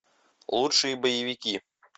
лучшие боевики